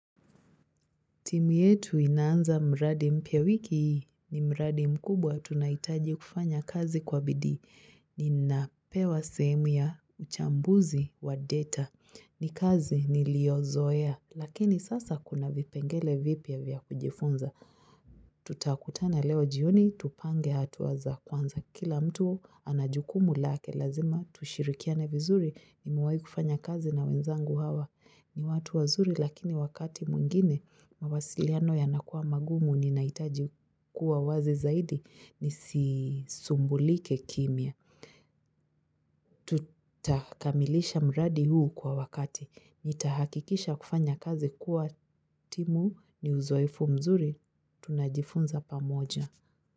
Timu yetu inaanza mradi mpya wiki hii ni mradi mkubwa tunaitaji kufanya kazi kwa bidii. Ni napewa sehemu ya uchambuzi wa data. Ni kazi ni liyo zoea. Lakini sasa kuna vipengele vipya vya kujifunza. Tutakutana leo jioni, tupange hatua za kwanza. Kila mtu anajukumu lake, lazima tushirikia ne vizuri ni mewai kufanya kazi na wenzangu hawa. Ni watu wazuri lakini wakati mwingine, mawasiliano yanakuwa magumu ni naitaji kuwa wazi zaidi ni sisumbulike kimya. Tutakamilisha mradi huu kwa wakati. Nitahakikisha kufanya kazi kuwa timu ni uzoefu mzuri, tunajifunza pa moja.